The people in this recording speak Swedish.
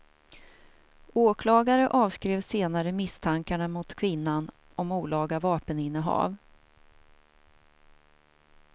Åklagare avskrev senare misstankarna mot kvinnan om olaga vapeninnehav.